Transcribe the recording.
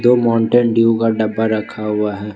दो Mountain Dew का डब्बा रखा हुआ है।